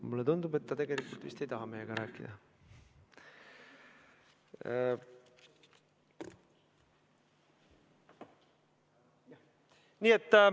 Mulle tundub, et ta tegelikult vist ei taha meiega rääkida.